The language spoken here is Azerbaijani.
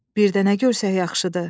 Birdə nə görsək yaxşıdır?